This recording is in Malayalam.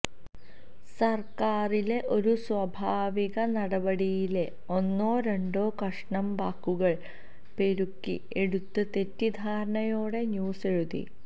സര്ക്കാരിലെ ഒരു സ്വാഭാവിക നടപടിയിലെ ഒന്നോ രണ്ടോ കഷണം വാക്കുകള് പെറുക്കി എടുത്ത് തെറ്റിദ്ധാരണയോടെ ന്യൂസ് എഴുതി